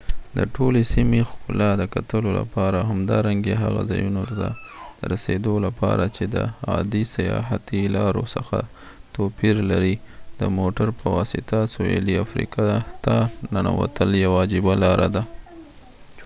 د ټولې سیمې ښکلا د کتلو لپاره او همدارنګه هغه ځايونو ته د رسيدو لپاره چې د عادي سیاحتي لارو څخه توپير لري د موټر په واسطه سویلي افریقا ته ننوتل یوه عجیب لاره ده